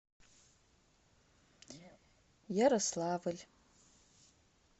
ярославль